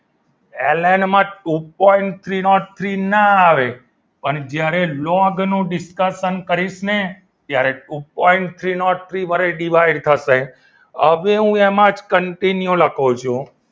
L N માં two point three naught three ના આવે પણ જ્યારે લોગનું discussion કરીશ ત્યારે two point three naught three વડે divide થશે હવે હું એમાં continue લખું છું.